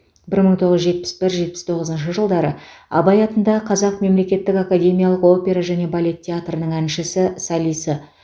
бір мың тоғыз жүз жетпіс бір жетпіс тоғызыншы жылдары абай атындағы қазақ мемлекеттік академиялық опера және балет театрының әншісі солисі